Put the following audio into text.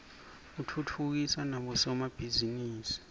utfutfukisa nabo somabhizinisi